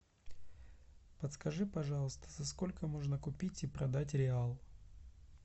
подскажи пожалуйста за сколько можно купить и продать реал